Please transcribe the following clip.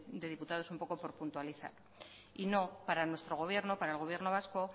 del congreso de diputados un poco por puntualizar y no para nuestro gobierno para el gobierno vasco